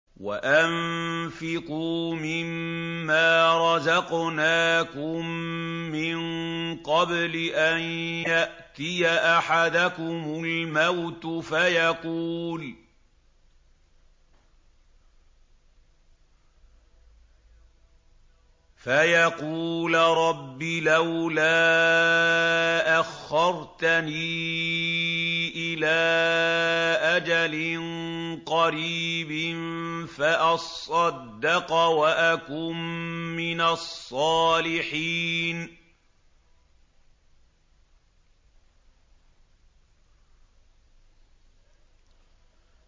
وَأَنفِقُوا مِن مَّا رَزَقْنَاكُم مِّن قَبْلِ أَن يَأْتِيَ أَحَدَكُمُ الْمَوْتُ فَيَقُولَ رَبِّ لَوْلَا أَخَّرْتَنِي إِلَىٰ أَجَلٍ قَرِيبٍ فَأَصَّدَّقَ وَأَكُن مِّنَ الصَّالِحِينَ